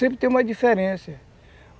Sempre tem uma diferença.